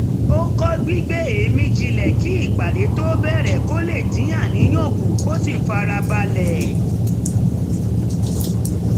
ó kọ́ gbígbé èémí jinlẹ̀ kí ìpàdé tó bẹ̀rẹ̀ kó lè dín àníyàn kù kó sì fara balẹ̀